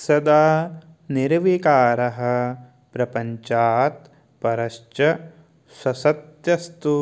सदा निर्विकारः प्रपञ्चात् परश्च ससत्यस्तु